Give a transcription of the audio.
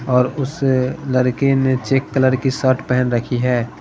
और उस लड़के ने चेक कलर की शर्ट पहन रखी है।